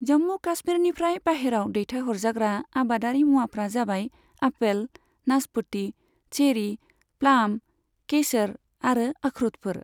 जम्मु काशमीरनिफ्राय बाहेराव देथायहरजाग्रा आबादारि मुवाफोरा जाबाय आपेल, नासपति, चेरी, प्लाम, केसर आरो अखरुटफोर।